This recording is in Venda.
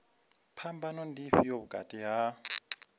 phambano ndi ifhio vhukati ha